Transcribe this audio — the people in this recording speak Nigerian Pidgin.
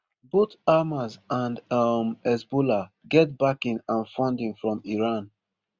both hamas and um hezbollah get backing and funding from iran